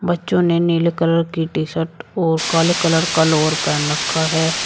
बच्चों ने नीले कलर की टी शर्ट और काले कलर का लोवर पहन रखा है।